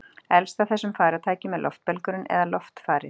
elst af þessum farartækjum er loftbelgurinn eða loftfarið